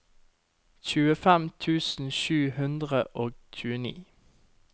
tjuefem tusen sju hundre og tjueni